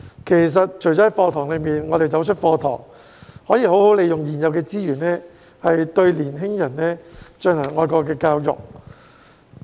其實，除了在課堂內，當我們走出課堂外，也可以好好利用現有資源，對年輕人進行愛國教育。